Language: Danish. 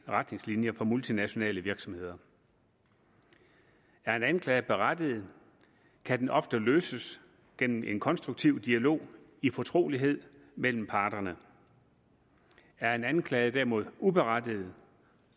retningslinjer for multinationale virksomheder er en anklage berettiget kan den ofte løses gennem en konstruktiv dialog i fortrolighed mellem parterne er en anklage derimod uberettiget